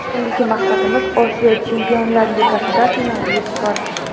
Endigi maqsadimiz Osiyo Chempionlar ligasida finalga yetib borish.